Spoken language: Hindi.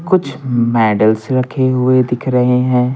कुछ मेडल्स रखे हुए दिख रहे हैं।